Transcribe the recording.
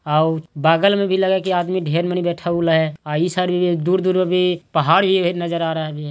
आ उ बगल में भी लगे है कि आदमी ढेर मनी बैठाउल है आ इ साइड भी दूर-दूर में भी पहाड़ ही नजर आ रहबी है।